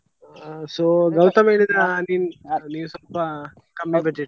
ಆ so ಗೌತಮ್ ಹೇಳಿದ ನೀನ್ ನೀನ್ ಸ್ವಲ್ಪ